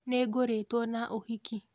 Nĩgũrĩtwo na ũhiki